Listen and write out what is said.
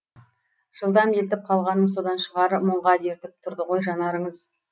жылдам елтіп қалғаным содан шығар мұңға дертіп тұрды ғой жанарыңыз